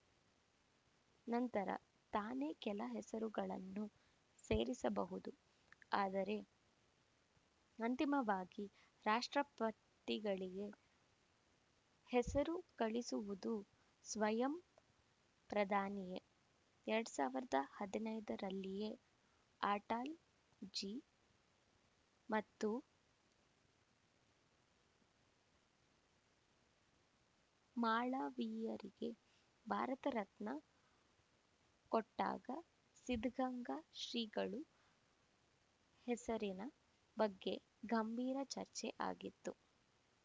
ನಂತರ ತಾನೇ ಕೆಲ ಹೆಸರುಗಳನ್ನು ಸೇರಿಸಬಹುದು ಆದರೆ ಅಂತಿಮವಾಗಿ ರಾಷ್ಟ್ರಪತಿಗಳಿಗೆ ಹೆಸರು ಕಳಿಸುವುದು ಸ್ವಯಂ ಪ್ರಧಾನಿಯೇ ಎರಡ್ ಸಾವಿರದ ಹದಿನೈದರಲ್ಲಿಯೇ ಅಟಲ್ ಜಿ ಮತ್ತು ಮಾಳವೀಯರಿಗೆ ಭಾರತ ರತ್ನ ಕೊಟ್ಟಾಗ ಸಿದ್ಧಗಂಗಾ ಶ್ರೀಗಳು ಹೆಸರಿನ ಬಗ್ಗೆ ಗಂಭೀರ ಚರ್ಚೆ ಆಗಿತ್ತು